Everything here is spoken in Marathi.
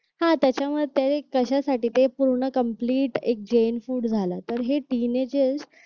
हा त्याच्यामध्ये ते कशासाठी ते पूर्ण कम्प्लीट एक जैन फुड झालं तर हे तिने जे